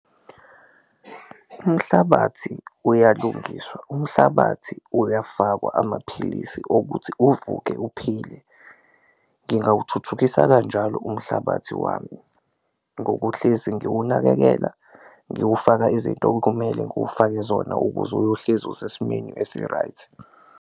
Umhlabathi uyalungiswa, umhlabathi uyafakwa amaphilisi okuthi uvuke uphile ngingawuthuthukisa kanjalo umhlabathi wami ngokuhlezi ngiwunakekela, ngiwufaka izinto okumele ngiwufake zona ukuze uyohlezi usesimweni esi-right.